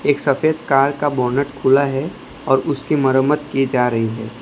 एक सफेद कार का बोनट खुला है और उसकी मरम्मत की जा रही है।